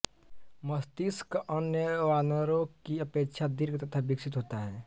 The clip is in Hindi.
मस्तिष्क अन्य वानरों की अपेक्षा दीर्घ तथा विकसित होता है